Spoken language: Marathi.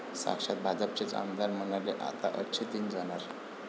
साक्षात भाजपचेच आमदार म्हणाले 'आता अच्छे दिन जाणार'!